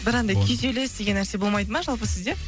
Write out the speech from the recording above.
бір андай күйзеліс деген нәрсе болмайды ма жалпы сізде